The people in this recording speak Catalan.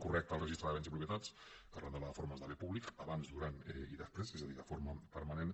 correcte el registre de béns i propietats arran de les reformes de bé públic abans durant i després és a dir de forma permanent